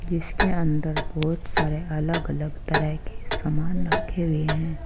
जिसके अंदर बहुत सारे अलग-अलग तरह के समान रखें हुए हैं।